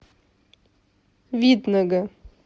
видного